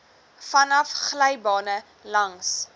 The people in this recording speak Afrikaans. vanaf glybane langs